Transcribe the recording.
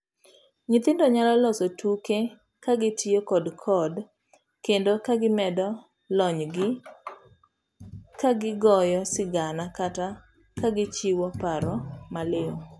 Nyithindo nyalo loso tuke kagitiyo kod code kendo ka gimedo lonygi kagigoyo sigana kata kagichiwo paro maliw.